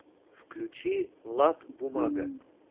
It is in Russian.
включи влад бумага